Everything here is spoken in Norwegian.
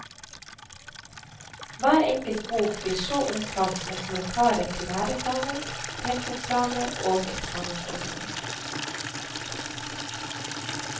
Hver enkelt bok blir så omtalt med kommentarer til læreplanen, tempoplaner og eksamensordninger.